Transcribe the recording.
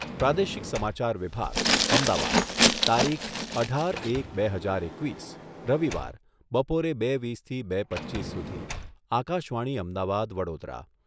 પ્રાદેશિક સમાચાર વિભાગ, અમદાવાદ. તારીખ, અઢાર એક બે હજાર એકવીસ, રવિવાર. બપોરે બે વીસથી બે પચ્ચીસ સુધી. આકાશવાણી અમદાવાદ વડોદરા